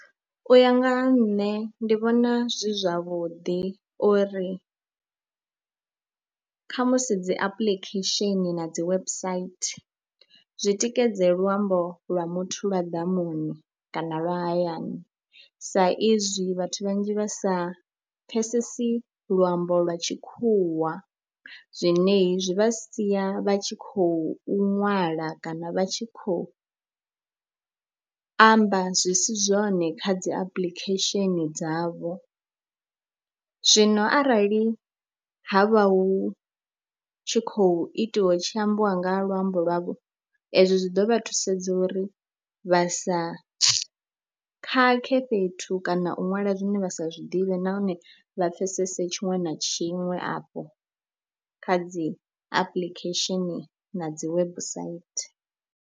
U ya nga ha nṋe ndi vhona zwi zwavhuḓi uri khamusi dzi apuḽikhesheni na dzi website zwi tikedze luambo lwa muthu lwa ḓamuni kana lwa hayani saizwi vhathu vhanzhi vha sa pfhesesi luambo lwa tshikhuwa, zwine zwi vha sia vha tshi khou ṅwala kana vha tshi khou amba zwi si zwone kha dzi apuḽikhesheni dzavho. Zwino arali ha vha hu tshi khou itiwa hu tshi ambiwa nga luambo lwavho ezwo zwi ḓo vha thusedza uri vha sa khakhe fhethu kana u ṅwala zwine vha sa zwi ḓivhe nahone vha pfhesese tshiṅwe na tshiṅwe afho kha dzi apuḽikhesheni na dzi website.